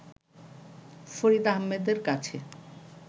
ফরিদ আহমেদের কাছে